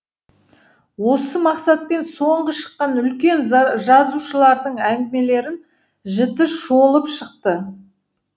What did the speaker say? осы мақсатпен соңғы шыққан үлкен жазушылардың әңгімелерін жіті шолып шықты